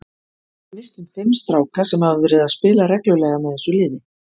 Við misstum fimm stráka sem hafa verið að spila reglulega með þessu liði.